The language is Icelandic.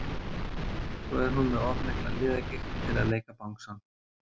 Svo er hún með of mikla liðagigt til að leika bangsann.